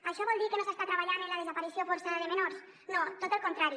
això vol dir que no s’està treballant en la desaparició forçada de menors no tot el contrari